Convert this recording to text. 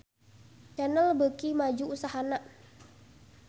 Channel beuki maju usahana